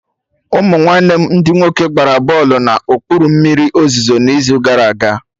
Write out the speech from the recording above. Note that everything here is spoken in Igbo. Ụmụ nwanne m ndị nwoke gbara bọlụ na okpuru mmiri ozuzo n'izu gara aga